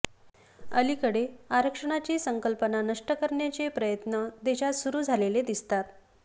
अलिकडे आरक्षणाची संकल्पना नष्ट करण्याचे प्रयत्न देशात सुरू झालेले दिसतात